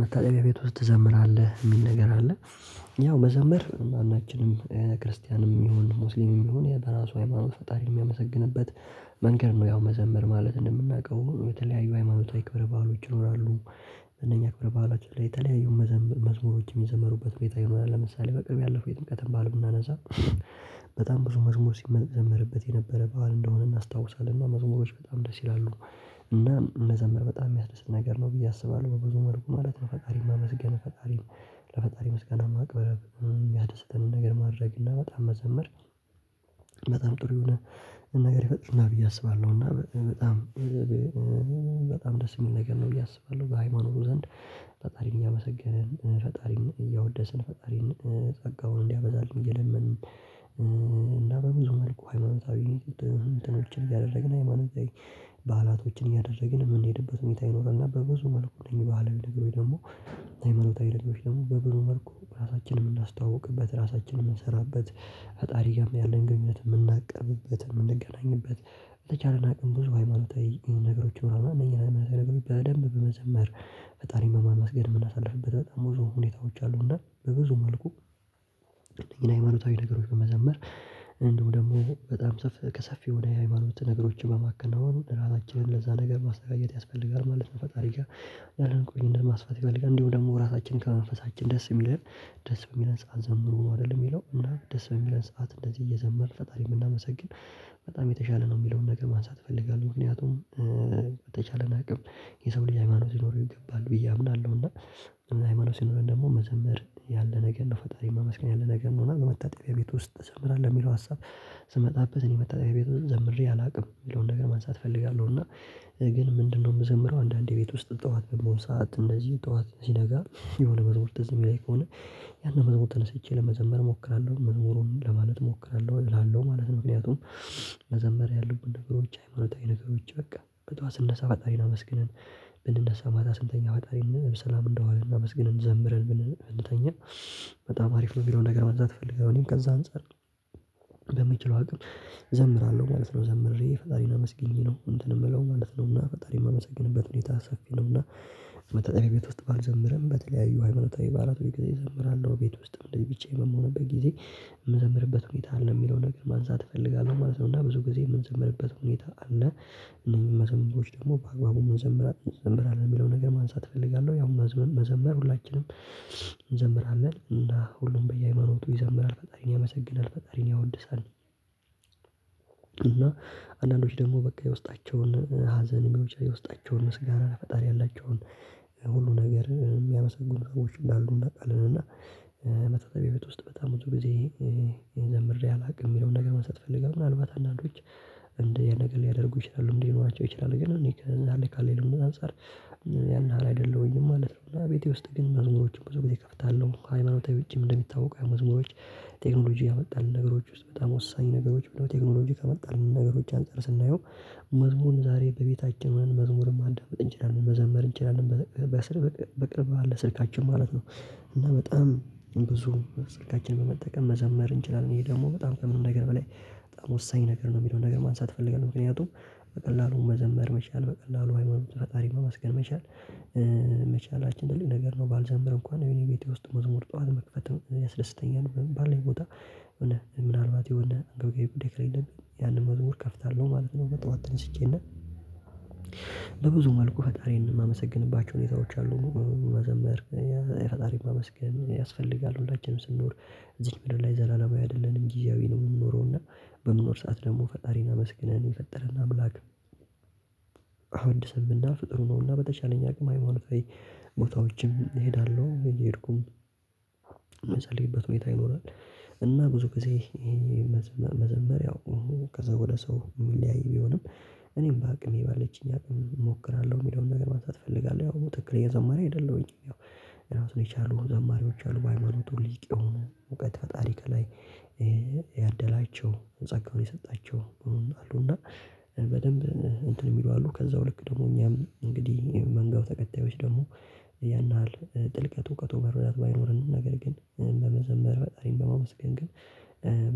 መታጠቢያ ቤት ውስጥ ትዘምራለህ የሚል ነገር አለ? ያው መዘምር ማናችንም ክርስቲያንም ይሁን ሙስሊምም ይሁን በራሱ ሃይማኖት ፈጣሪ ሚያመሰግንበት መንገድ ነው። ያው መዘምር ማለት እንደምናውቀው የተለያዩ ሃይማኖታዊ ክብረ በዓሎች ይኖራሉ። እነኛ ክብረ በዓላት ላይ የተለያዩ መዝሙሮች የሚዘመሩበት ሁኔታ ይኖራል። ለምሳሌ በቅርብ ያለፈ የጥምቀትን በዓል ብናነሳ። በጣም ብዙ መዝሙር ሲዘመርበትየነበረ በዓል እንደሆነ እናስታውሳለን እና መዝሙሮች በጣም ደስ ይላሉ። እና መዘምር በጣም ሚያስደስት ነገር ነው ብዬ አስባለሁ በብዙ መልኩ ማለት ነው። ፈጣሪን ማመስገን ፈጣሪን ለፈጣሪ ምስጋና ማቅበር ያስደተንን ነገር ማድረግ እና በጣም መዘመር። በጣም ጥሩ የሆነ ነገር ይፈጥርልናል ብዬ አስባለሁ። እና በጣም በጣም ደስ ሚል ነገር ነው ብዬ አስባለሁ። በሃይማኖቱ ዘንድ ፈጣሪን እያመሰገንን ፈጣሪን እያወደስን ፈጣሪን ጸጋውን እንዲያበዛልን እየለመንን እና በብዙ መልኩ ሃይማኖታዊ እንትኖችን እያደረግን ሃይማኖታዊ በዓላቶችን እያደረግን የምንሄድበት ሁኔታ ይኖራል። እና በብዙ መልኩ እነኝ ባህላዊ ነገሮች ደግሞ ሃይማኖታዊ ነገሮች ደግሞ በብዙ መልኩ ራሳችንን ምናስተዋውቅበት ራሳችንን ምንሰራበት ፈጣሪ ጋርም ያለን ግንኙነት ምናቀርብበት የምንገናኝበት በተቻለና ቅንብ ብዙ ሃይማኖታዊ ነገሮች ምናምን እነዚህን አይነት አመለካከት በደንብ በመዘመር ፈጣሪን በማመስገድ ምናሳልፍበት በጣም ብዙ ሁኔታዎች አሉ። እና በብዙ መልኩ ግን ሃይማኖታዊ ነገሮች በመዘመር እንዲሁም ደግሞ በጣም ከሰፊ ወደ ሃይማኖት ነገሮች በማከናወን ራሳችንን ለዛ ነገር ማስተጋዘት ያስፈልጋል ማለት ነው። ፈጣሪ ጋር ቆይ እንደ ማስፋት ይፈልጋል እንዲሁ ደግሞ ራሳችን ከመንፈሳችን ደስ ሚለን ደስ በሚለን ሰዓት ዘምሩ አይደለም የሚለው እና ደስ በሚለን ሰዓት እንደዚህ እየዘመርን ፈጣሪ ብናመሰግን በጣም የተሻለ ነው የሚለውን ነገር ማንሳት እፈልጋለሁ። ምክንያቱም በተቻለን አቅም የሰው ልጅ ሃይማኖት ሊኖረው ይገባል ብዬ አምናለሁ። እና ሃይማኖት ሲኖረኝ ደግሞ መዘምር ያለ ነገር ነው ፈጣሪን ማመስገን ያለ ነገር ነው። እና በመታጠቢያ ቤት ውስጥ ትዘምራለሁ የሚለው ሀሳብ ስመጣበት እኔ መታጠቢያ ቤት ዘምሬ አላውቅም የሚለውን ነገር ማንሳት እፈልጋለሁ። እና ግን ምንድነው? የምዘምረው አንዳንዴ ቤት ውስጥ ጠዋት የምሆን ሰዓት እነዚህ ጠዋት ሲነጋ የሆነ መዝሙር ትዝ ሚለኝ ከሆነ ያንን መዝሙር ተነስቼ ለመዘመር እሞክራለሁ መዝሙሩን ለማለት እሞክራለሁ እላለሁ ማለት ነው። ምክንያቱም መዘመር ያሉት ነገሮች ሃይማኖታዊ ነገሮች በቃ በጠዋት ስነሳ ፈጣሪን አመስግነን ብንነሳ ማታ ስንተኛ ፈጣሪን ሰላም እንደዋለ እናመስግነን ዘምረን ብንተኛ በጣም አሪፍ ነው የሚለውን ነገር ማንሳት እፈልጋለሁ። እኔም ከዛ አንፃር በምችለው አቅም ዘምራለሁ ማለት ነው። ዘምሬ ፈጣሪና አመስግኜ ነው እንትን የምለው ማለት ነውና ፈጣሪ የማመሰግንበት ሁኔታ ሰፊ ነውና። መታጠቢያ ቤት ውስጥ ባልዘምርም በተለያዩ ሃይማኖታዊ በዓላት ወይ ጊዜ እዘምራለሁ ቤት ውስጥም እንደዚህ ብቻየን በምሆንበት ጊዜ የምዘምርበት ሁኔታ አለ የሚለው ነገር ማንሳት እፈልጋለሁ ማለት ነው። እና ብዙ ጊዜ የምንዘመርበት ሁኔታ አለ። እነዚህን መዘምሮች ደግሞ በአግባቡ መዘመር አለብን የሚለው ነገር ማንሳት እፈልጋለሁ። ያው መዘመር ሁላችንም እንዘምራለን እና ሁሉም በየሃይማኖቱ ይዘምራል ፈጣሪን ያመሰግናል ፈጣሪን ያወድሳል። እና አንዳንዶች ደግሞ በቃ የውስጣቸውን ሀዘን የሚያወጣቸውን ምስጋና ፈጣሪ ያላቸውን ሁሉ ነገር የሚያመሰጉን ሰዎች እንዳሉ እናውቃለን። እና መታጠቢያ ቤት ውስጥ በጣም ብዙ ጊዜ የዘምሬ አላውቅም የሚለውን ነገር ማሳት እፈልጋለው። ምናልባት አንዳንዶች እንደ ነገር ሊያደርጉ ይችላሉ ሊኖራቸው ይችላሉ ግን እኔ ከዛ ላይ ካለኝ አንፃር። ያን ያህል አይደለም ወይም ማለት ነው። ቤቴ ውስጥ ግን መዝሙሮችን ብዙ ጊዜ እከፍታለሁ ሃይማኖታዊ ውጪም እንደሚታወቁ የመዝሙሮች ቴክኖሎጂ ያመጣልን ነገሮች ውስጥ በጣም ወሳኝ ነገሮች ብለው ቴክኖሎጂ ከመጣልን ነገሮች አንፃር ስናየው። መዝሙርን ዛሬ በቤታችን መዝሙርም ማዳመጥ እንችላለን መዘመር እንጨርም በቅርብ በቅርብ አለ ስልካችን ማለት ነው። እና በጣም ብዙ ስልካችንን በመጠቀም መዘመር እንችላለን ይሄ ደግሞ በጣም ከምንም ነገር በላይ በጣም ወሳኝ ነገር ነው የሚለውን ነገር ማንሳት እፈልጋለሁ። ምክንያቱም በቀላሉ መዘመር መቻል በቀላሉ ሃይማኖት ፈጣሪ መመስገን። መቻል ትልቅ ነገር ነው ባልዘምር እንኳን የኔ ቤቴ ውስጥ መዝሙር ጠዋት መክፈት ያስደስተኛል። ባለን ቦታ ምናልባት የሆነ ግብጋይ ብዴክ ላይ ያንን መዝሙር ከፍታለሁ ማለት ነው። ጠዋት ተነስቼና መልኩ ፈጣሪን የማመሰግንባቸው ሁኔታዎች አሉ መዘመር የፈጣሪ ማመስገን ያስፈልጋል ሁላችንም ስንኖር እዚህን ምድር ላይ ዘላለማዊ አይደለንም ጊዜያዊ ነው የምንኖረው እና በመኖር ሰዓት ደግሞ ፈጣሪን አመስግነን የፈጠረን አምላክ። አወድሰን ብናልፍ ጥሩ ነውና በተቻለኝ አቅም አይሞን። ቦታዎችም እሄዳለሁ እንዴ እየሄድኩም የምጸልይበት ሁኔታ ይኖራል። እና ብዙ ጊዜ መዘመር ያው ከሰው ወደ ሰው የሚለያይ ቢሆንም እና በጣም ብዙ ስልካችንን በመጠቀም መዘመር እንችላለን ይሄ ደግሞ በጣም ከምንም ነገር በላይ በጣም ወሳኝ ነገር ነው የሚለውን ነገር ማንሳት እፈልጋለሁ። ምክንያቱም በቀላሉ መዘመር መቻል በቀላሉ ሃይማኖት ፈጣሪ መመስገን መቻል ትልቅ ነገር ነው። ባልዘምር እንኳን የኔ ቤቴ ውስጥ መዝሙር ጠዋት መክፈት ያስደስተኛል። ባለን ቦታ ያደላቸው ጸጋውን የሰጣቸው አሉ እና በደንብ እንትን የሚሉ አሉ ከዛው ልክ ደግሞ እኛም እንግዲህ መንጋው ተከታዮች ደግሞ ያን ያህል ጥልቀት እውቀቱ በብዛት ባይኖር ነገር ግን በመዘመር ፈጣሪን በማመስገን ግን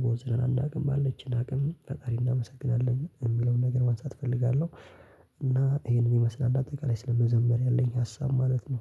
ቦዝነንን አናውቅም ባለችን አቅም ፈጣሪ እናመሰግናለን የሚለውን ነገር ማንሳት እፈልጋለሁ። እና ይሄንን ይመስላል አጠቃላይ ስለመዘመር ያለኝ ሀሳብ ማለት ነው